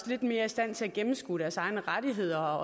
lidt mere i stand til at gennemskue deres egne rettigheder